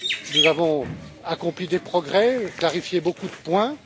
suspens. Nous avons accompli des progrès, clarifié beaucoup de